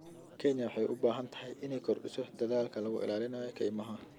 Kenya waxay u baahan tahay inay kordhiso dadaalka lagu ilaalinayo kaymaha.